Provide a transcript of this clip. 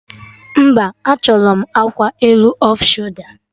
Mba, achọrọ m akwa elu off sholda